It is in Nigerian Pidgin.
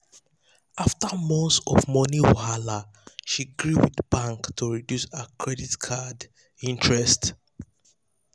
the couple um keep 20 percent from wedding money for future savings plan.